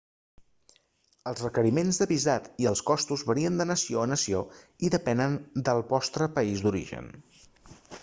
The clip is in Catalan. els requeriments de visat i els costos varien de nació a nació i depenen del vostre país d'origen